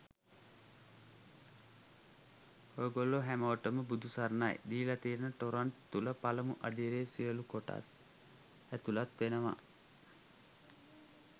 ඔයගොල්ලො හැමෝටම බුදු සරණයි! දීලා තියන ටොරන්ට් තුල පළමු අදියරේ සියලුම කොටස් ඇතුලත් වෙනවා.